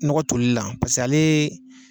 Nɔgɔ tolili la ale ye.